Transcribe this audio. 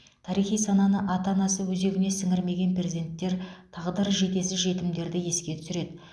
тарихи сананы ата анасы өзегіне сіңірмеген перзенттер тағдыры жетесіз жетімдерді еске түсіреді